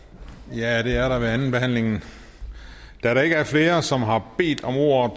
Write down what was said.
ja det er der ved andenbehandlingen da der ikke er flere som har bedt om ordet